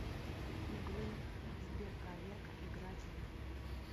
игру сберпроверка играть в